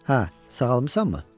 Hə, sağalmısanmı?